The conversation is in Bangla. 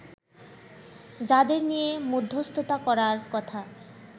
যাদের নিয়ে মধ্যস্থতা করার কথা